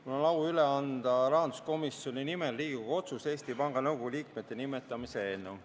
Mul on au anda rahanduskomisjoni nimel üle Riigikogu otsuse "Eesti Panga Nõukogu liikmete nimetamine" eelnõu.